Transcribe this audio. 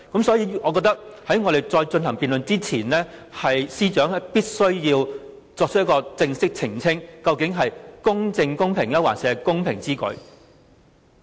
所以，我認為在繼續辯論之前，司長必須正式澄清，究竟是"公正公平之舉"，還是"公平之舉"？